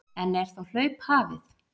En er þá hlaup hafið?